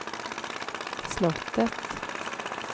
slottet